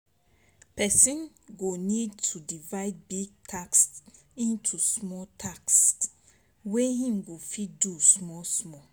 Person go need to divide big tasks into small tasks wey im go fit do small small